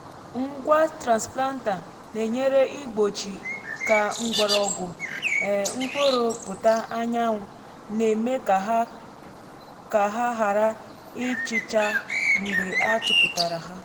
ngwa transplanter na-enyere igbochi ka mgbọrọgwụ um mkpụrụ pụta anyanwụ na-eme ka ha ka ha ghara ịchịcha mgbe a tụpụtara ha.